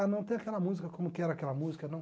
Ah, não tem aquela música como que era aquela música não